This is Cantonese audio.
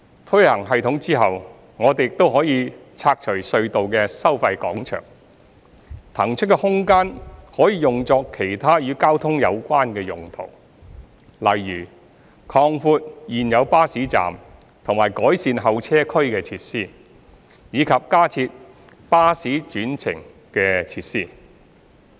推行系統後，我們亦可以拆除隧道的收費廣場，所騰出的空間可以用作其他與交通有關的用途，例如擴闊現有巴士站及改善候車區設施，以及加設巴士轉乘設施。